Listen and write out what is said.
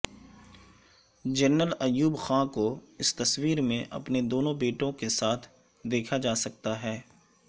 general Ayub Khan کو اس تصویر میں اپنے دونوں بیٹوں کے ساتھ دیکھا جاسکتا ہے